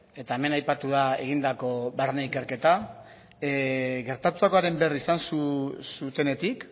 eta hemen aipatu da egindako barne ikerketa gertatutakoaren berri izan zutenetik